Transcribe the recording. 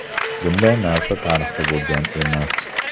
Bunday narsa tarixda bo‘lgan emas.